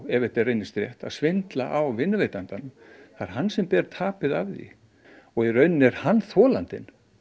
ef þetta reynist rétt að svindla á vinnuveitandanum það er hann sem ber tapið á því í rauninni er hann þolandinn